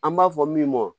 An b'a fɔ min ma